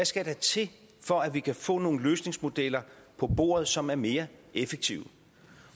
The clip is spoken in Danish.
skal til for at vi kan få nogle løsningsmodeller på bordet som er mere effektive